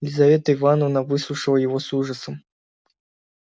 лизавета ивановна выслушала его с ужасом